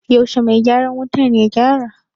Yaushe mai gyaran wutar ya gyara?